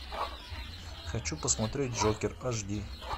хочу посмотреть джокер аш ди